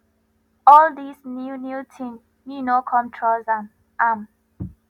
all this new new thing me no come trust am am